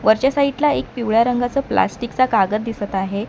वरच्या साईडला एक पिवळ्या रंगाचा प्लास्टिकचा कागद दिसत आहे.